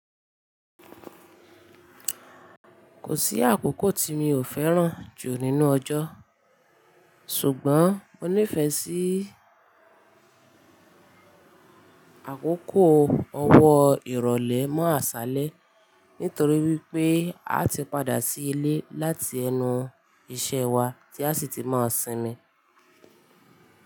Kò sí àkókò tí mi ò fẹ́ràn jù nínú ọjọ́, ṣùgbọ́n mo nífẹ̀ẹ́ sí àkókò ọwọ́ ìrọ̀lẹ́ mọ́ àṣálẹ́ nítorí wípé a ti padà sí ilé láti ẹnu iṣẹ́ wa tí a sì ti máa sinmi.